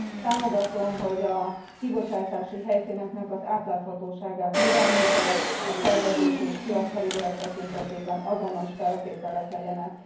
Támogatom, hogy a kibocsátási helyszínek átláthatóságát növelni kell, a szervezési és piacfelügyelet tekintetében azonos feltételek legyenek.